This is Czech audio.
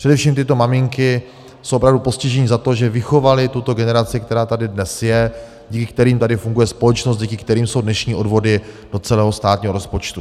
Především tyto maminky jsou opravdu postiženy za to, že vychovaly tuto generaci, která tady dnes je, díky kterým tady funguje společnost, díky kterým jsou dnešní odvody do celého státního rozpočtu.